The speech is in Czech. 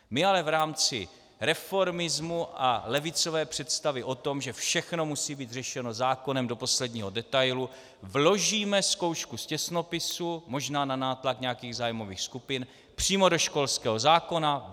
My ale v rámci reformismu a levicové představy o tom, že všechno musí být řešeno zákonem do posledního detailu, vložíme zkoušku z těsnopisu, možná na nátlak nějakých zájmových skupin, přímo do školského zákona.